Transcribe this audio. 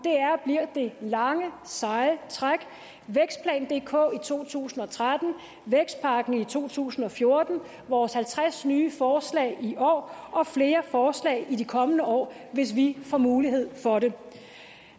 bliver det lange seje træk vækstplan dk i to tusind og tretten vækstpakken i to tusind og fjorten vores halvtreds nye forslag i år og flere forslag i de kommende år hvis vi får mulighed for det